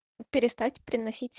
перестать приносить